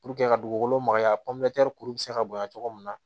ka dugukolo magaya kuru be se ka bonya cogo min na